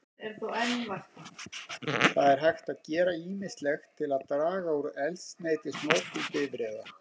Það er hægt að gera ýmislegt til þess að draga úr eldsneytisnotkun bifreiða.